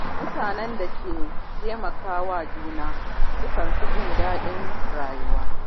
Mutanen da ke taimaka wa juna sukan fi jin daɗin rayuwa.